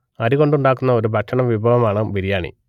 അരി കൊണ്ടുണ്ടാക്കുന്ന ഒരു ഭക്ഷണ വിഭവമാണ് ബിരിയാണി